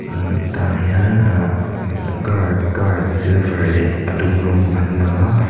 imm tag hian ah gar car silver leh a dum rawng an lang a.